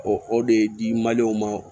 O o de di ma